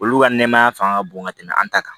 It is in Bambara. Olu ka nɛmaya fanga ka bon ka tɛmɛ an ta kan